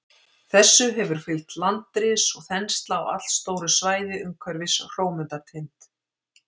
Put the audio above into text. Þessu hefur fylgt landris og þensla á allstóru svæði umhverfis Hrómundartind.